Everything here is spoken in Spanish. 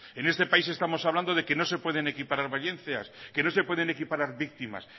en este país estamos hablando de que no se pueden equiparar violencias que no se pueden equiparar víctimas